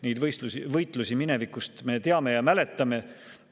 Neid võitlusi minevikust me teame ja mäletame.